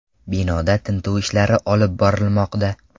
Binoda tintuv ishlari olib borilmoqda.